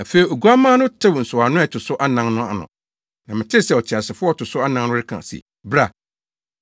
Afei Oguamma no tew nsɔwano a ɛto so anan no ano na metee sɛ ɔteasefo a ɔto so anan no reka se, “Bra!”